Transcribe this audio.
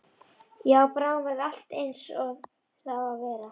Já, bráðum verður allt einsog það á að vera.